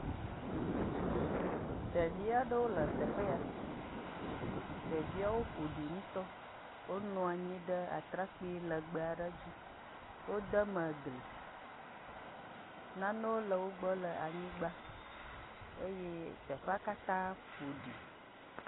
Hum, ɖevia ɖewo le teƒe ya, ɖeviawo ƒo ɖi ŋutɔ. Wonɔ anyi ɖe atrakpui lɛgbɛ aɖe dzi. Wode me gli. Nanewo le wogbɔ le anyigba eye teƒea katã ƒo ɖi.